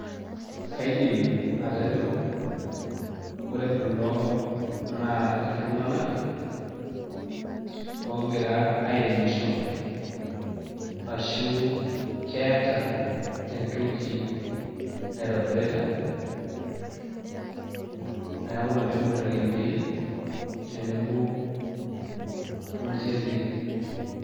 Aidim atejo ore kulo naa iltunganak oogira airemisho, ashu keeta entoki naitobirita, neeku ina peeibungita ilkembei tenebo onjembei.